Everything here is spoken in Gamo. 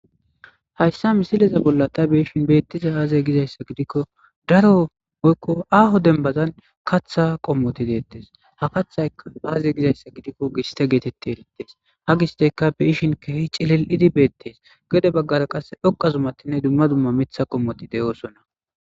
Hayssa misileza bolla ta beishin beettiza aaze gizayssa gidikko daro oykko aaho denbazan katha qommoti deettes ha kathay aaze gizayssa gidikko giste geetetti elittes ha gisteka beishin kehi cilil7idi beettees gede baggara qasse dhoqa zumatinne dumma dumma mitha qommoti deyoosonna